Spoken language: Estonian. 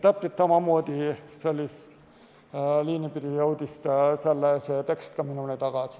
Täpselt sellist liini pidi jõudis see tekst ka minule tagasi.